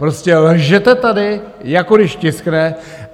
Prostě lžete tady, jako když tiskne.